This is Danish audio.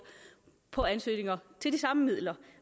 på ansøgninger til de samme midler